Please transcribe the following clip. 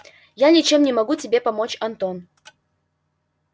я ничем не могу тебе помочь антон